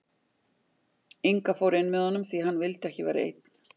Inga fór inn með honum því hann vildi ekki vera einn.